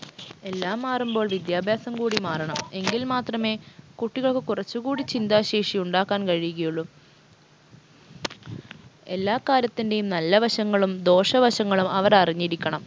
എല്ലാം മാറുമ്പോൾ വിദ്യാഭ്യാസം കൂടി മാറണം എങ്കിൽ മാത്രമേ കുട്ടികൾക്ക് കുറച്ചുകൂടി ചിന്താശേഷി ഉണ്ടാക്കാൻ കഴിയുകയുള്ളു എല്ലാ കാര്യത്തിൻറെയും നല്ല വശങ്ങളും ദോശ വശങ്ങളും അവർ അറിഞ്ഞിരിക്കണം